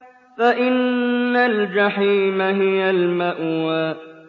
فَإِنَّ الْجَحِيمَ هِيَ الْمَأْوَىٰ